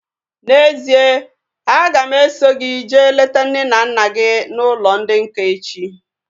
N'ezie, a ga m eso gị jee leta nne na nna gị n'ụlọ ndị nká echi